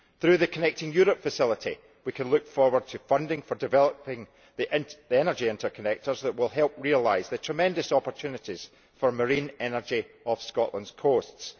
Through the Connecting Europe Facility we can look forward to funding for developing the energy interconnectors that will help realise the tremendous opportunities for marine energy off Scotland's coasts